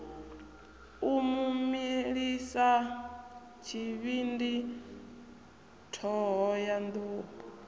u mu milisa tshivhindi thohoyanḓ